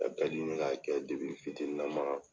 A ka di n ye k'a kɛ fitiininnama.